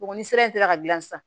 Bɔgɔ ni sira in taara ka gilan sisan